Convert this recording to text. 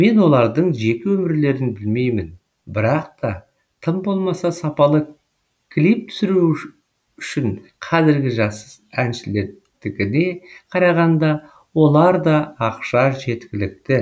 мен олардың жеке өмірлерін білмеймін бірақ та тым болмаса сапалы клип түсіру үшін қазіргі жас әншілердікіне қарағанда оларда ақша жеткілікті